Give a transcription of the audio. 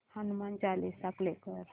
Hanuman Chalisa play कर